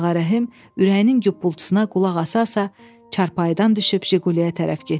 Ağarəhim ürəyinin qupulçusuna qulaq asarsa çarpayıdan düşüb Jiquliyə tərəf getdi.